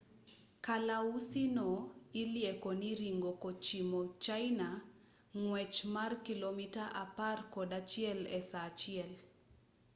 kalausi no ilieko ni ringo kochimo china e ng'wech mar kilomita apar kod achiel e saa achiel